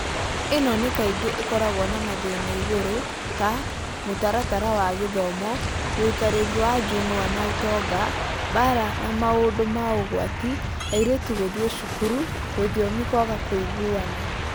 Ĩno nĩ kaingĩ ikoragwo na mathĩna igũrũ (ta, mũtaratara wa gĩthomo, ũikarĩri wa njũng’wa na ũtonga, mbaara na maũndũ ma ũgwati, airĩtu gũthiĩ cukuru, rũthiomi kwaga kũigũana).